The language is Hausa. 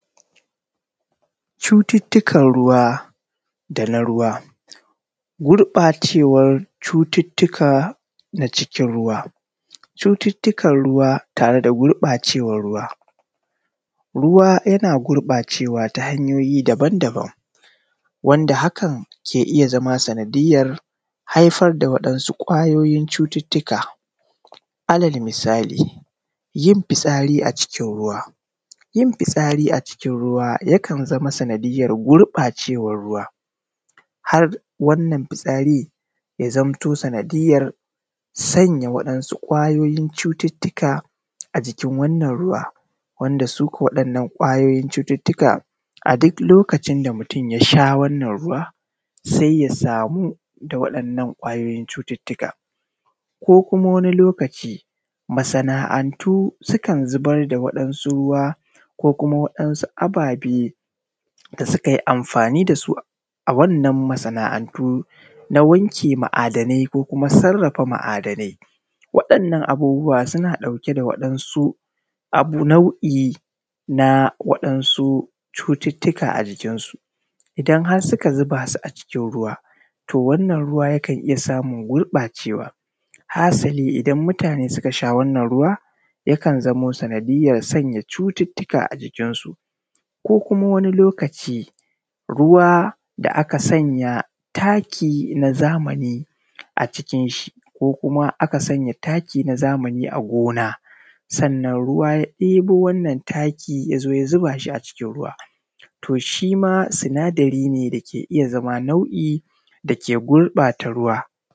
Cuttutukan ruwa da na ruwa. Gurbacewan cututuka na cikin ruwa. Cututuka ruwa tare da gurbacewan ruwa, ruwa yana gurbacewa ta hanyoyi daban daban wanda hakan ke iya zama sanadiyar haifar da waɗansu ƙwayoyin cututuka. Alal misali yin fitsari a cikin ruwan. Yin fitsari a cikin ruwa yakan zama sanadiyar gurbacewan ruwa har wannan fitsarin ya zamto sanadiyar sanya waɗansu ƙwayoyin cututuka a jikin wannan ruwan, wanda su ko waɗannan ƙwayoyin cututuka a duk lokacin da mutun ya sha wannan ruwan sai ya samu da waɗannan ƙwayoyin cututuka. Ko kuma wani lokacin masana’antu sukan zubar da waɗansu ruwa ko kuma waɗansu ababe da suka yi amfani da su a wannan masa'anantu na wanke ma'adanai ko na sarafa ma'adanai, waɗannan abubuwa suna ɗauke da waɗansu abu nau'i na waɗansu cututuka a jikinsu. idan har suka zuba su a cikin ruwa, to wannan ruwa yakan iya samun gurbacewa, hasali idan mutane suka sha wannan ruwa, yakanzai zamo sanadiyar sanya cututuka a jikinsu. Ko kuma wani lokaci ruwa da aka sanya taki na zamani a cikin shi ko kuma aka sanya taki na zamani a gona, sannan ruwa ya ɗebo wannan taki ya zo ya zuba shi a cikin ruwa, to shi ma sinadari ne dake iya zama nau'i da ke gurbata ruwa.